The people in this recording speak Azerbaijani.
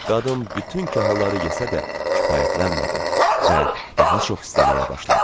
Qadın bütün kahları yesə də, kifayətlənmədi və daha çox istəməyə başladı.